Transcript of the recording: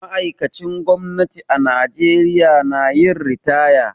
Ma'aikacin gwamnati a Najeriya na yin ritaya.